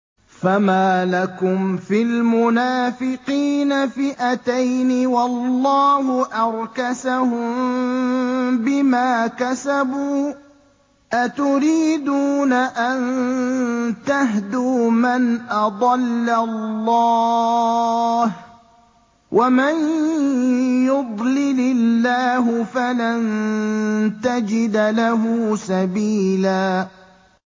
۞ فَمَا لَكُمْ فِي الْمُنَافِقِينَ فِئَتَيْنِ وَاللَّهُ أَرْكَسَهُم بِمَا كَسَبُوا ۚ أَتُرِيدُونَ أَن تَهْدُوا مَنْ أَضَلَّ اللَّهُ ۖ وَمَن يُضْلِلِ اللَّهُ فَلَن تَجِدَ لَهُ سَبِيلًا